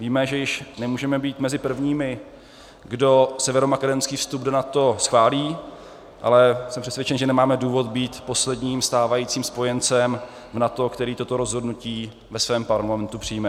Víme, že již nemůžeme být mezi prvními, kdo severomakedonský vstup do NATO schválí, ale jsem přesvědčen, že nemáme důvod být posledním stávajícím spojencem v NATO, který toto rozhodnutí ve svém parlamentu přijme.